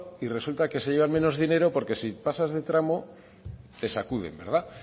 y resulta que se lleva menos dinero porque si pasas de tramo te sacuden bueno